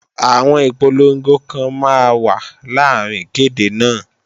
Àwọn ìpolongo kan máa wà láàrín ìkéde náà